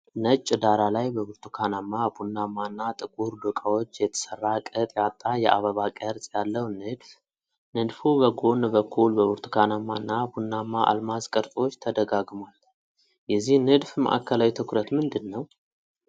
ነጭ ዳራ ላይ በብርቱካናማ፣ ቡናማ እና ጥቁር ዶቃዎች የተሰራ ቅጥ ያጣ የአበባ ቅርጽ ያለው ንድፍ። ንድፉ በጎን በኩል በብርቱካናማ እና ቡናማ አልማዝ ቅርጾች ተደጋግሟል። የዚህ ንድፍ ማዕከላዊ ትኩረት ምንድን ነው?